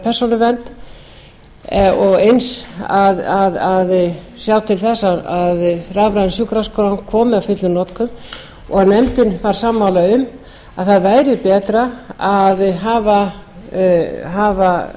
persónuvernd og eins að sjá til þess að rafræn sjúkraskrá komi að fullum notum nefndin varð sammála um að það væri betra að hafa